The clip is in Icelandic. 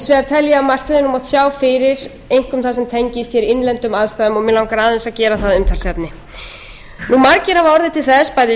að margt hefði mátt sjá fyrir einkum það sem tengist hér innlendum aðstæðum og mig langar aðeins að gera það að umtalsefni margir hafa orðið til þess bæði